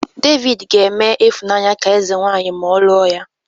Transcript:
David ga-eme Ifunanya ka eze-nwanyị ma ọ lụọ ya